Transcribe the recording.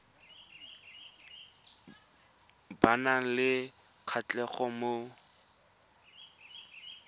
ba nang le kgatlhego mo